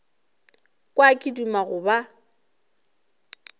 kwa ke duma go ba